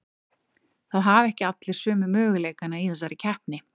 Það hafa ekki allir sömu möguleikana í þessari keppni.